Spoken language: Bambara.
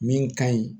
Min ka ɲi